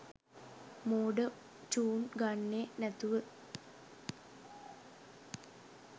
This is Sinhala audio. මෝඩ චුන් ගන්නේ නැතුව.